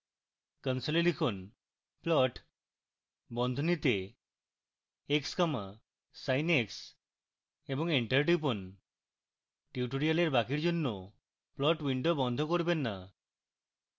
console লিখুন plot x comma sin x এবং enter টিপুন